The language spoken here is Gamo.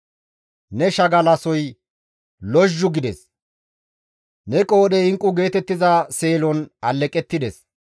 Ne shagalasoy lozhzhu gides; ne qoodhey inqqu geetettiza seelon alleqettides.